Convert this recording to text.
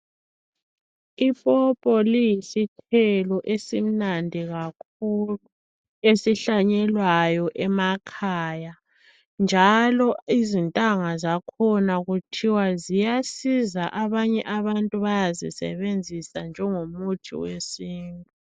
Ipopo liyisithelo esimnandi kakhulu esihlanyelwayo emakhaya njalo izintanga zakhona kuthiwa ziyasiza abanye abantu bayazisebenzisa njengomuthi wesintu.